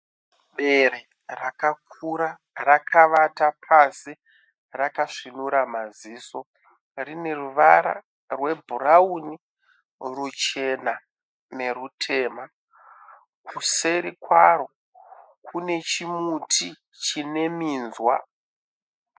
Bere rakakura rakawata pasi rakasvinura maziso rine ruvara rwebhurauni ruchena ne rutema kuseri kwaro kunechimuti chine minzwa